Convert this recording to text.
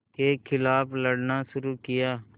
के ख़िलाफ़ लड़ना शुरू किया